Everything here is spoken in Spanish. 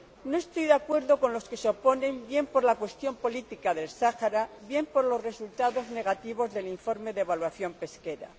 No estoy de acuerdo con los que se oponen, bien por la cuestión política del Sáhara, bien por los resultados negativos del informe de evaluación pesquera.